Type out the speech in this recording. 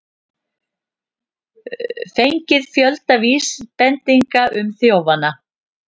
Fengið fjölda vísbendinga um þjófana